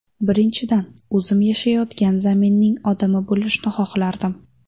Birinchidan, o‘zim yashayotgan zaminning odami bo‘lishni xohlardim.